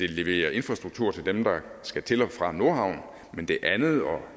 levere infrastruktur til dem der skal til og fra nordhavn men det andet og